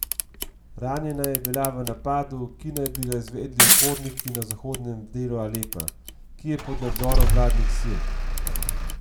Ranjena je bila v napadu, ki naj bi ga izvedli uporniki na zahodnem delu Alepa, ki je pod nadzorom vladnih sil.